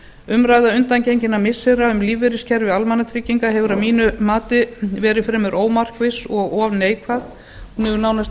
umræða undangenginna missira um lífeyriskerfi almannatrygginga hefur að mínu mati verið fremur ómarkviss og of neikvæð hún hefur